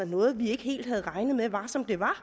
noget de ikke helt havde regnet med var som det var